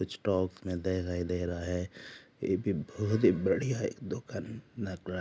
Stock मैं दे रहा ही रहा है यह बहुत ही बड़ा दिख रहा है।